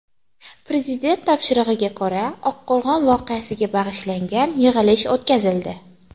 Prezident topshirig‘iga ko‘ra Oqqo‘rg‘on voqeasiga bag‘ishlangan yig‘ilish o‘tkazildi.